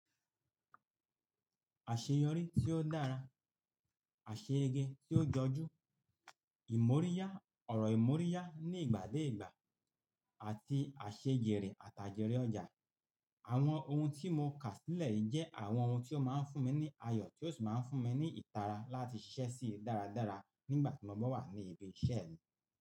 Àṣeyọrí tí ó dára, àṣeyege tí ó jọjú, ìmóríyá, ọ̀rọ̀ ìmóríyá ní ìgbà dé ìgbà àti àṣejẹ̀re àtajẹ̀rì ọjà. Àwọn ohun tí mo kà sílẹ̀ yìí jẹ́ àwọn ohun tí ó máa ń fún mi ní ayọ̀ tí ó sì máa ń fún mi ní ìtara láti ṣisẹ́ sì dáradára nígbà tí mo bá wà ní ibi iṣẹ́ mi.